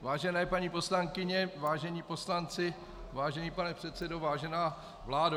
Vážené paní poslankyně, vážení poslanci, vážený pane předsedo, vážená vládo.